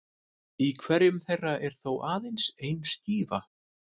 Í hverjum þeirra er þó aðeins ein skífa.